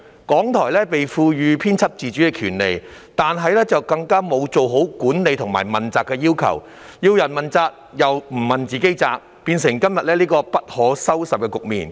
港台獲賦予編輯自主的權利，但卻沒有達到管理和問責的要求，它每天向別人問責，自己卻缺乏問責精神，釀成今天這個不可收拾的局面。